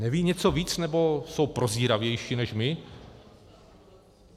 Nevědí něco víc, nebo jsou prozíravější než my?